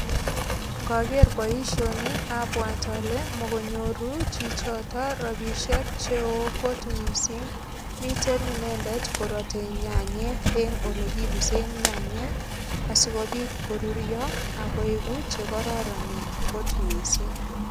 Ngoker boisioni abwat ale mokonyoru chichoto ropisiek cheo kot mising. Miten inendet korotei nyanyek eng olrkipsen nyanyek asigopit korurio ak koegu che kororonen kot mising.